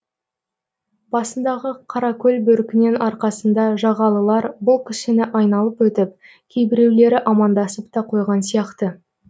басындағы қаракөл бөркінен арқасында жағалылар бұл кісіні айналып өтіп кейбіреулері амандасып та қойған сияқты